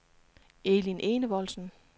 Elin Enevoldsen